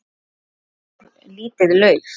Hvert fór lítið lauf?